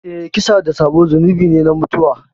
Eh, kisa da sabo zunubi ne na mutuwa.